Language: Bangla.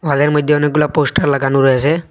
মধ্যে অনেকগুলা পোস্টার লাগানো রয়েসে।